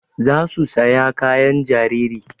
Za su saya kayan jariri